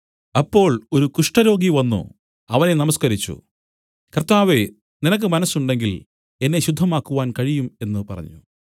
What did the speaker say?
അപ്പോൾ ഒരു കുഷ്ഠരോഗി വന്നു അവനെ നമസ്കരിച്ചു കർത്താവേ നിനക്ക് മനസ്സുണ്ടെങ്കിൽ എന്നെ ശുദ്ധമാക്കുവാൻ കഴിയും എന്നു പറഞ്ഞു